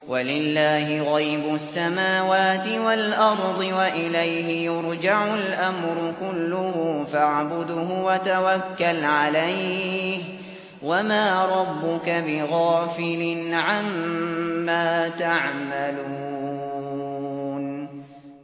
وَلِلَّهِ غَيْبُ السَّمَاوَاتِ وَالْأَرْضِ وَإِلَيْهِ يُرْجَعُ الْأَمْرُ كُلُّهُ فَاعْبُدْهُ وَتَوَكَّلْ عَلَيْهِ ۚ وَمَا رَبُّكَ بِغَافِلٍ عَمَّا تَعْمَلُونَ